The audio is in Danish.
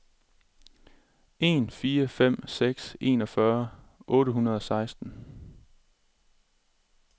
en fire fem seks enogfyrre otte hundrede og seksten